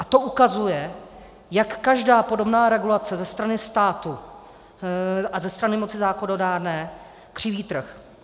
A to ukazuje, jak každá podobná regulace ze strany státu a ze strany moci zákonodárné křiví trh.